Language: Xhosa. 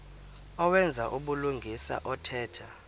owenza ubulungisa othetha